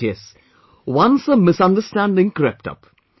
But yes once a misunderstanding crept up